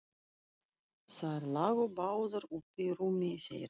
Þær lágu báðar uppí rúminu þeirra.